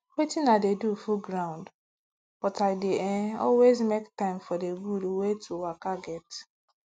wetin i go do full ground but i dey eh always make time for d gud wey to waka get